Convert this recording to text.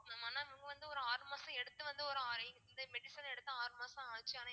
mam ஆனா இவுங்க வந்து ஆறு மாசம் எடுத்துட்டு வந்து ஒரு medicine எடுத்து ஆறு மாசம் ஆச்சு ஆனா